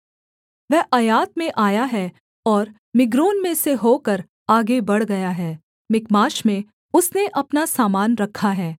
वह अय्यात में आया है और मिग्रोन में से होकर आगे बढ़ गया है मिकमाश में उसने अपना सामान रखा है